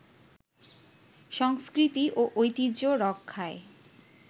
সংস্কৃতি ও ঐতিহ্য রক্ষায়